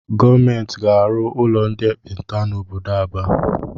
Gọọmenti ga-arụ ụlọ ndị ekpenta n'obodo Aba.